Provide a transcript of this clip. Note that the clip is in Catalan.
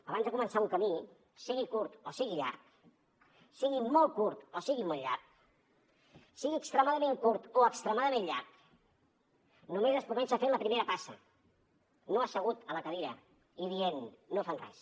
abans de començar un camí sigui curt o sigui llarg sigui molt curt o sigui molt llarg sigui extremadament curt o extremadament llarg només es comença a fer la primera passa no assegut a la cadira i dient no fan res